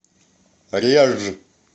реж